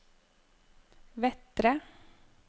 Vettre